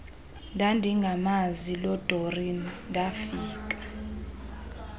ndandingamazi lodoreen ndafika